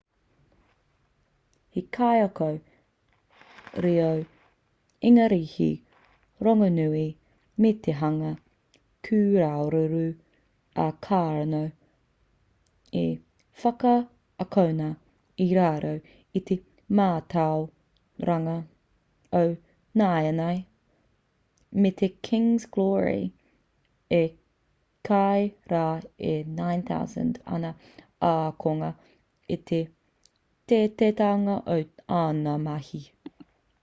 he kaiako reo ingarihi rongonui me te hanga kūraruraru a karno i whakaakona i raro i te mātauranga o nāianei me te king's glory i kī rā e 9,000 ana ākonga i te teiteitanga o āna mahi